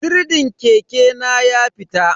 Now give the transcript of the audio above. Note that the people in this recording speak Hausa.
Sirdin keke na ya fita.